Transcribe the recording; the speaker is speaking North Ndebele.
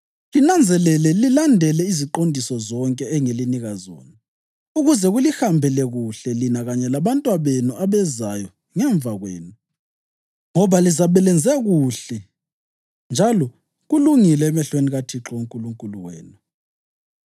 Linanzelele lilandele iziqondiso zonke engilinika zona, ukuze kulihambele kuhle lina kanye labantwabenu abezayo ngemva kwenu, ngoba lizabe lenze okuhle njalo kulungile emehlweni kaThixo uNkulunkulu wenu.